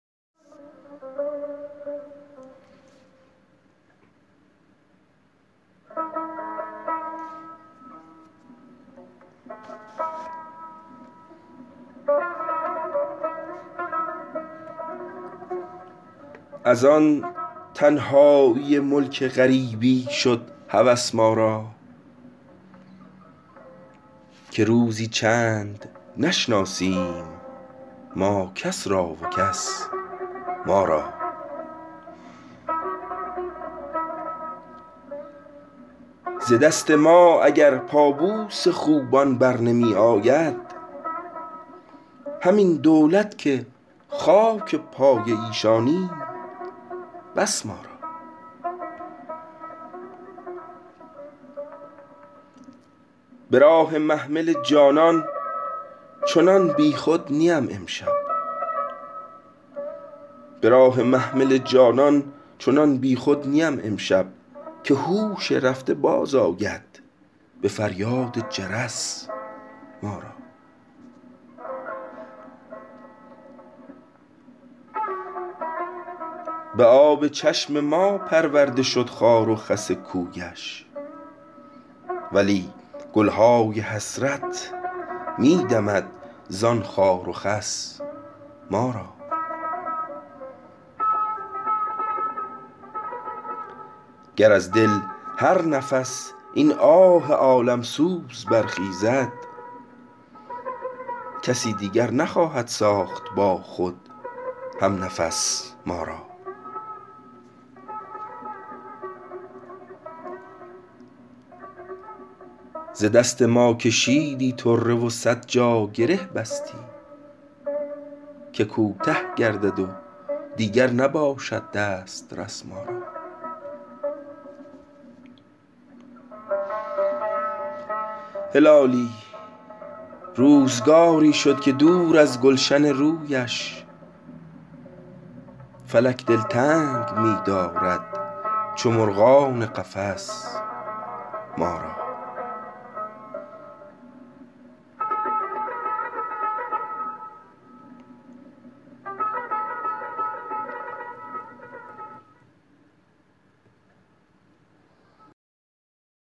از آن تنهایی ملک غریبی شد هوس ما را که روزی چند نشناسیم ما کس را و کس ما را ز دست ما اگر پا بوس خوبان بر نمی آید همین دولت که خاک پای ایشانیم بس مارا براه محمل جانان چنان بیخود نیم امشب که هوش رفته باز آید بفریاد جرس ما را بآب چشم ما پرورده شد خار و خس کویش ولی گلهای حسرت میدمد زان خار و خس ما را گر از دل هر نفس این آه عالم سوز برخیزد کسی دیگر نخواهد ساخت با خود همنفس ما را ز دست ما کشیدی طره و صد جا گره بستی که کوته گردد و دیگر نباشد دسترس ما را هلالی روزگاری شد که دور از گلشن رویش فلک دل تنگ میدارد چو مرغان قفس ما را